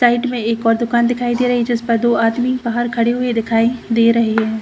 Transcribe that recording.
Side में एक और दुकान दिखाई दे रही है जिस पर दो आदमी बाहर खड़े हुए दिखाई दे रहे हैं।